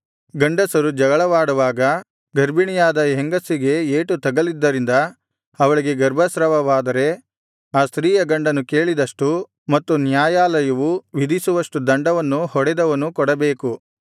ಗಂಡಸರು ಜಗಳವಾಡುವಾಗ ಗರ್ಭಿಣಿಯಾದ ಹೆಂಗಸಿಗೆ ಏಟು ತಗಲಿದ್ದರಿಂದ ಅವಳಿಗೆ ಗರ್ಭಸ್ರಾವವಾದರೆ ಆ ಸ್ತ್ರೀಯ ಗಂಡನು ಕೇಳಿದಷ್ಟು ಮತ್ತು ನ್ಯಾಯಾಲಯವು ವಿಧಿಸುವಷ್ಟು ದಂಡವನ್ನು ಹೊಡೆದವನು ಕೊಡಬೇಕು